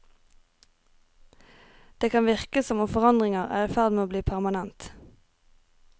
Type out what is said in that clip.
Det kan virke som om forandringer er i ferd med å bli permanent.